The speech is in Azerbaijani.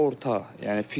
Orta.